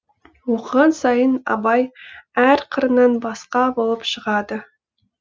оқыған сайын абай әр қырынан басқа болып шығады